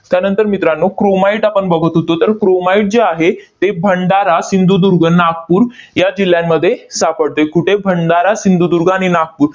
त्यानंतर मित्रांनो, chromite आपण बघत होतो. तर, chromite जे आहे, ते भंडारा, सिंधुदुर्ग, नागपूर या जिल्ह्यांमध्ये सापडते. कुठे? भंडारा, सिंधुदुर्ग आणि नागपूर.